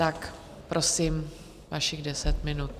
Tak prosím, vašich deset minut.